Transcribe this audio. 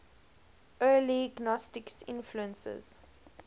early gnostic influences